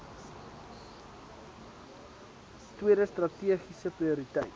tweede strategiese prioriteit